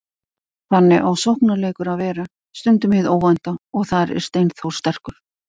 Þannig á sóknarleikur að vera, stundum hið óvænta, og þar er Steinþór sterkur.